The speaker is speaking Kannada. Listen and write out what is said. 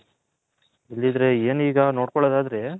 ಇಲ್ದಿದ್ರೆ ಏನೀಗ ನೋಡ್ಕೊಲ್ಲದ್ ಆದ್ರೆ.